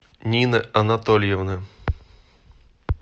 нина анатольевна